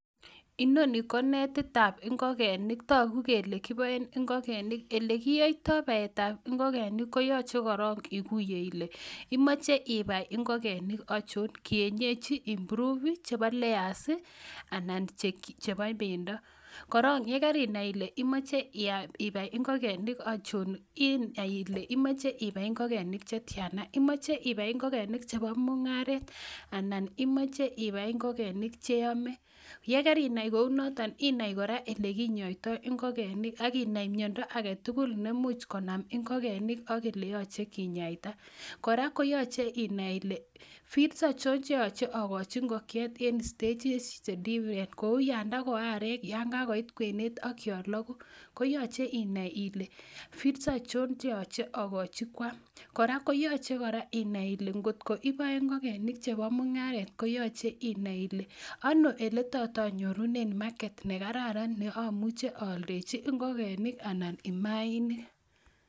Inoni ko netitab ingogeniik, toguu kele kiboishien ingokenik, ole kiyoitoi bayetab ingigenik koyochee korong ikuyee Ile imoche ibai ingogenik achon, kienyechi, improved anan ko chebo layers anan ko chebobendoo. Korong yekeinai Ile imoche ibai ingogenik achon I,inai kora ile imoche ibai ingogenik chetiana. Anan imoche ibai ingogenik chebo mungaret anan imoche ibai ingogenik cheome. Ye kerinai kounotok i,inai kora olekinyoitoi ingogenik akinai miondoo agetugul neimuch konaam ingigenik ak ole yoche kinyaita. Kora koyoche inai Ile feeds achon cheoche akochi ingokiet, ibesyee terindoo.,kouyon tako aarek ,yon kakoit kwenet ak yon looguu. Koyoche inai ile feeds achon cheoche akochi kwam. Kora koyoche inai Ile kot iboe ingogenik chebo mungaret i,komungaret konyole ineei ono oletos anyorunen market nekararan neomuche aaldechi ingigenik anan mainik